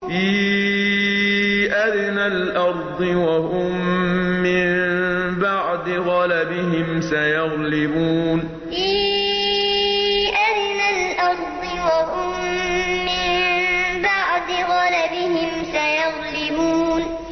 فِي أَدْنَى الْأَرْضِ وَهُم مِّن بَعْدِ غَلَبِهِمْ سَيَغْلِبُونَ فِي أَدْنَى الْأَرْضِ وَهُم مِّن بَعْدِ غَلَبِهِمْ سَيَغْلِبُونَ